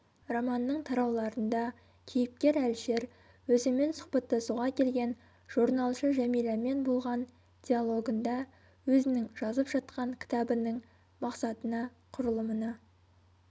романның тарауларында кейіпкер әлішер өзімен сұхбаттасуға келген жорналшы жәмиламен болған диалогында өзінің жазып жатқан кітабының мақсатына құрылымына